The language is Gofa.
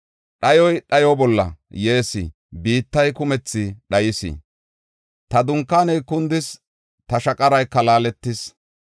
Dhayoy dhayo bolla yees; biittay kumethi dhayis. Ta dunkaaney kundis; ta shaqarayka laaletis.